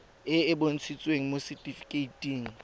e e bontshitsweng mo setifikeiting